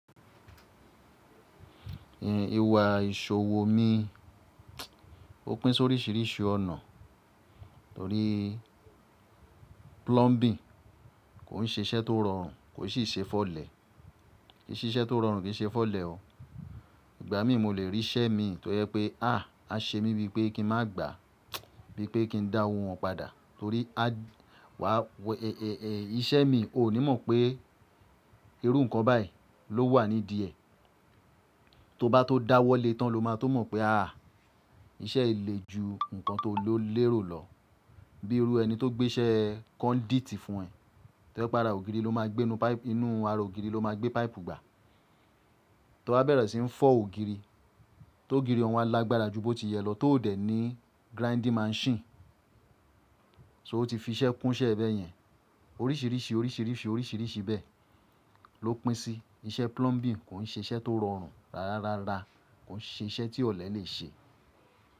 Iwà ìṣòwò mi, ó pín sóríṣìíríṣìí ọ̀nà torí plumbing kò ń ṣe iṣẹ́ tó rọrùn kò sì ń ṣe fọlẹ̀, kì í ṣe iṣẹ́ tó rọrùn kì í ṣe fọlẹ̀ o. Ìgbà mí mo lè rí iṣẹ́ mi tó yẹ pé háà a ṣe mí bíi pé kí n má gbà á, bíi pé kí n dá owo wọn padà torí a wà iṣẹ́ mi o ní mọ̀ pé irú nǹkan báyìí ló wà ní díẹ̀. To bá tó dá wọlé tán lo má to mọ̀ pé háà iṣẹ́ le ju nǹkan tó lérò lọ. Bíi irú ẹni tó gbé iṣẹ́ con dítì fún ẹ, tí ẹ bá ra ògiri ló máa gbé inú páìpù, inú ara ògiri ló máa gbé páìpù gbà. To bá bẹ̀rẹ̀ sí ń fọ́ ògiri, tó ògiri wọn lágbára jù bó ti yẹ lọ, tó òdẹ̀ ní grinding machine, so ó ti fi iṣẹ́ kún iṣẹ́ ẹ bẹ́ẹ̀ yẹn. Oríṣìíríṣìí, oríṣìíríṣìí, oríṣìíríṣìí bẹ́ẹ̀ ó pín sí i. Iṣẹ́ plumbing kò ń ṣe iṣẹ́ tó rọrùn rárárárá, kò ń ṣe iṣẹ́ tí ọ̀lẹ lè ṣe.